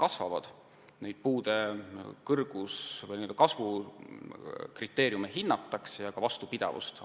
Hinnatakse puude kõrgust või n-ö kasvukriteeriume ja analüüsitakse ka vastupidavust.